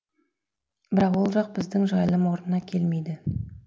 бірақ ол жақ біздің жайылым орнына келмейді